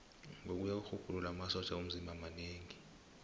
ngokuya kwerhubhululo amasotja womzimba manengi